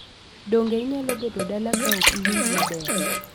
Donge inyalo bedo dala ka ok iwinj maber?